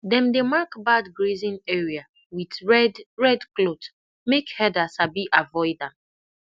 dem dey mark bad grazing area with red red cloth make herder sabi avoid am